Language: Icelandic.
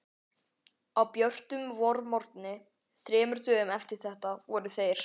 Á björtum vormorgni þremur dögum eftir þetta voru þeir